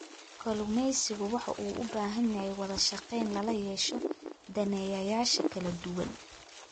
Kalluumeysigu wuxuu u baahan yahay wadashaqeyn lala yeesho daneeyayaasha kala duwan.